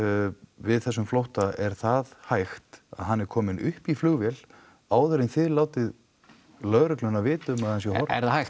við þessum flótta er það hægt að hann er kominn upp í flugvél áður en þið látið lögreglu vita um að hann sé horfinn er það hægt